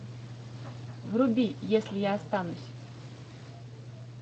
вруби если я останусь